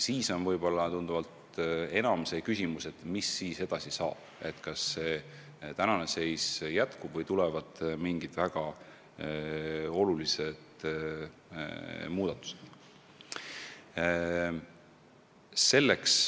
Siis on võib-olla tunduvalt enam päevakorral küsimus, mis edasi saab – kas praegune seis jääb püsima või tulevad mingid väga olulised muudatused.